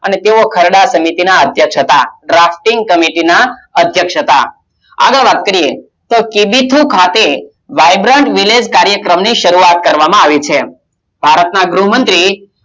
અને તેઓ ખરડા સમિતિ ના અધ્યક્ષ હતા ડ્રાફટિંગ કમિટ્ટી ના અધ્યક્ષ હતા આગળ વાત કરીએ કે ડી થ્રૂ ખાતે vibrant village કાર્યક્રમ ની શરૂઆત કરવામાં આવી છે ભારત ના ગૃહમંત્રી